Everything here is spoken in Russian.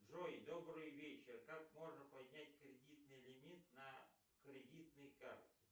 джой добрый вечер как можно поднять кредитный лимит на кредитной карте